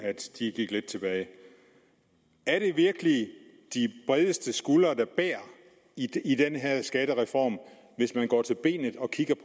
gik lidt tilbage er det virkelig de bredeste skuldre der bærer i den her skattereform hvis man går til benet